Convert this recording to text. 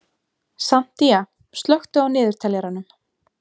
Santía, slökktu á niðurteljaranum.